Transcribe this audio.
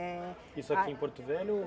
eh... Isso aqui em Porto Velho ou?